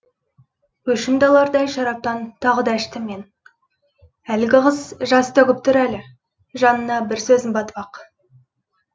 өшімді алардай шараптан тағы да іштім мен әлгі қыз жас төгіп тұр әлі жанына бір сөзім батып ақ